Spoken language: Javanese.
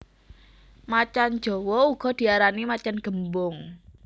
Macan jawa uga diarani macan gémbong